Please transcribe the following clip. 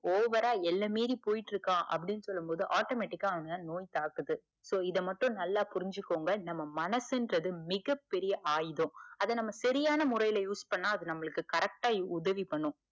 over ஆ எல்லை மீறி போய்ட்டு இருக்கா அப்டின்னு சொல்லும் போது, automatic ஆ அவன நோய் தாக்குது. so இத மட்டும் நல்லா புரிஞ்சிக்கோங்க நம்ம நனசுன்றது பெரிய ஆவுதம் அத நாம சரியான முறைல use பண்ணா அது நமக்கு correct ஆ உதவி பண்ணும்.